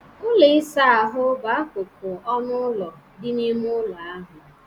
Ụlọ ịsa ahụ bụ akụkụ nke ọnụ ụlọ dị n'ime ụlọ ahụ.